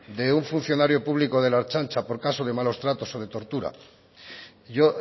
de un funcionario público de la ertzaintza por caso de malos tratos o de tortura yo